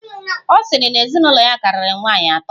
Ọ sịrị na ezinụlọ ya karịrị nwaanyị atọ.